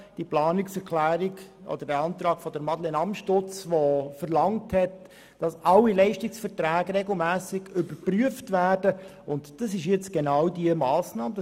Der Antrag von Madeleine Amstutz, der eine regelmässige Überprüfung sämtlicher Leistungsverträge verlangt hat, entspricht genau dieser Massnahme hier.